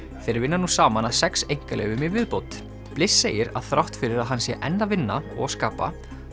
þeir vinna nú saman að sex einkaleyfum í viðbót bliss segir að þrátt fyrir að hann sé enn að vinna og skapa